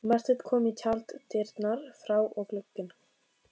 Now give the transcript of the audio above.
Marteinn kom í tjalddyrnar fár og gugginn.